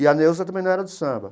E a Neuza também não era do samba.